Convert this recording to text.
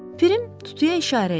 Pirim tutuya işarə edir.